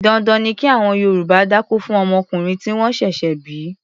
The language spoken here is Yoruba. Dandan ni kí àwọn Yorùbá dákó fún ọmọkùnrin tí wọ́n ṣẹ̀ṣẹ̀ bí.